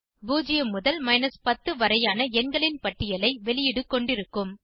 0 முதல் 10 வரையான எண்களின் பட்டியலை வெளியீடு கொண்டிருக்கும்